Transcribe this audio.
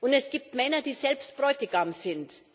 Und es gibt Männer, die selbst Bräutigam sind.